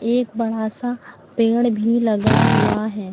एक बड़ा सा पेड़ भी लगा हुआ है।